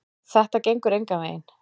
Þetta gengur engan veginn.